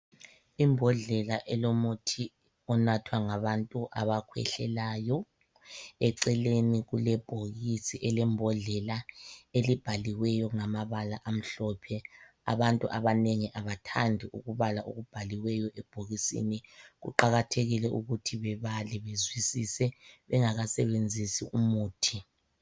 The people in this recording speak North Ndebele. Imbodlela elomuthi onathwa ngabantu abakhwehlelayo eceleni kulebhokisi elembhodlela elibhaliweyo ngamabala amhlophe. Abantu abanengi abathandi ukubala okubhaliweyo ebhokisini. Kuqakathekile ukuthi bebale bezwisise bengakasebenzisi umuthi.